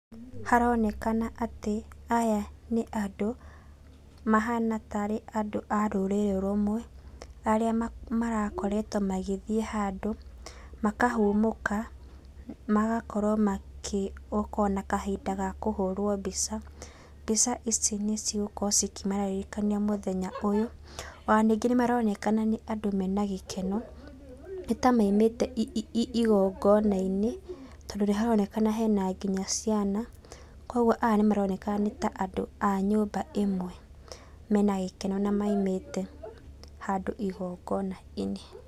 Haronekana atĩ, aya nĩ andũ mahana tarĩ andũ a rũrĩrĩ rũmwe, arĩa ma marakoretwo magĩthiĩ handũ, makahũmũka, magakorwo makĩ oko nakahinda ga kũhũrwo mbica, mbica ici nicigũkorwo cikĩmaririkania mũthenya ũyũ. Ona ningĩ nĩmaronekana nĩ andũ mena gĩkeno, nĩtamaumĩte gongonainĩ, tondũ nĩharonekana hena nginya ciana, kwoguo aya nĩmaroneka nĩta andũ a nyũmba ĩmwe mena gĩkeno na maumĩte handũ igongonainĩ.